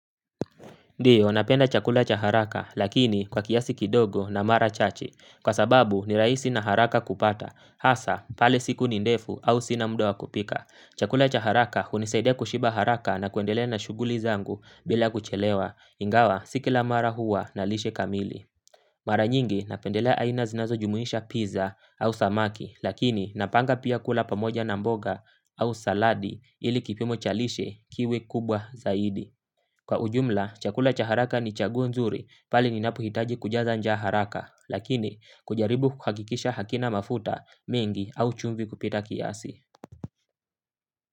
Ndiy, o napenda chakula cha haraka lakini kwa kiasi kidogo na mara chache. Kwa sababu ni rahisi na haraka kupata. Hasa pale siku ni ndefu au sina muda wa kupika. Chakula cha haraka hunisaide kushiba haraka na kuendelea na shughuli zangu bila kuchelewa. Ingawa si kila mara huwa na lishe kamili. Mara nyingi napendele aina zinazojumuhisha pizza au samaki, lakini napanga pia kula pamoja na mboga au saladi ili kipimo cha lishe kiwe kubwa zaidi. Kwa ujumla, chakula cha haraka ni chaguo nzuri pale ninapohitaji kujaza njaa haraka. Lakini, kujaribu kukakikisha hakina mafuta mengi au chumvi kupita kiasi.